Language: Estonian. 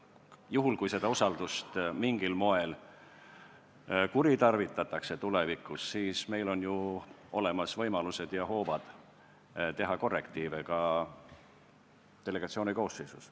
Kui tulevikus seda usaldust mingil moel kuritarvitatakse, siis on ju olemas võimalused ja hoovad teha korrektiive ka delegatsiooni koosseisus.